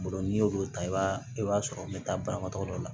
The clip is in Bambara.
Bolo n'i y'olu ta i b'a i b'a sɔrɔ n bɛ taa banabaatɔ dɔ la